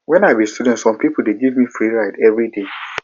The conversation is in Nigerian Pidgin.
wen i be student some pipo dey give me free ride everyday